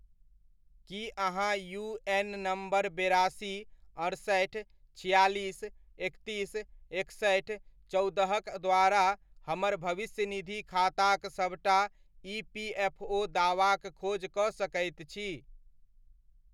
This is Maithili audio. की अहाँ यूएन नम्बर बेरासी, अड़सठि, छिआलिस, एकतीस, एकसठि, चौदह'क द्वारा हमर भविष्यनिधि खाताक सबटा ईपीएफओ दावाक खोज कऽ सकैत छी?